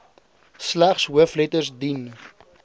slegs hoofletters dien